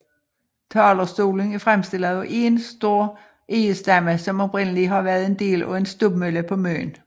Talerstolen er fremstillet af én stor egestamme som oprindelig har været en del af en stubmølle på Møn